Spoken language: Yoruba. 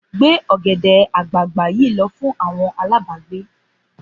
Gbé ọ̀gẹ̀dẹ̀ àgbagbà yìí lọ fún àwọn alágbàágbé!